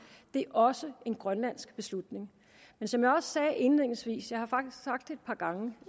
også en grønlandsk beslutning men som jeg sagde indledningsvis jeg har faktisk sagt det et par gange